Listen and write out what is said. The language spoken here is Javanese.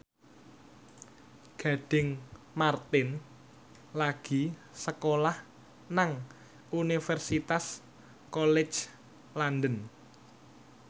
Gading Marten lagi sekolah nang Universitas College London